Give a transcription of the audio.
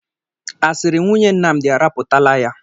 Asịrị nwunye Nnamdị arapụtala ya